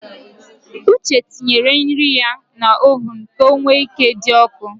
Uche tinyere nri ya n’oven ka o wee ike dị ọkụ